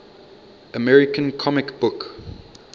american comic book